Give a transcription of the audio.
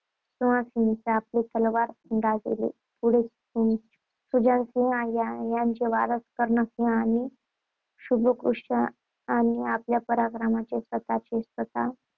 सुजाणसिंहांनी आपली तलवार गाजविली. पुढे सुजाणसिंह यांचे वारस कर्णसिंह आणि शुभकृष्ण यांनी आपल्या पराक्रमाने स्वतचे